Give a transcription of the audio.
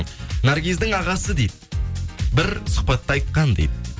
наргиздің ағасы дейді бір сұхбатта айтқан дейді